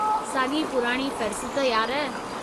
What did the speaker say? साॻी पुराणी फ़हिरिस्त, यार।